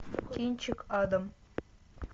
кинчик адам